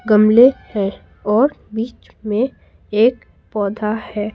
गमले हैं और बीच में एक पौधा है।